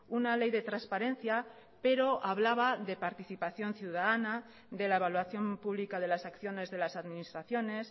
una ley de transparencia pero hablaba de participación ciudadana de la evaluación pública de las acciones de las administraciones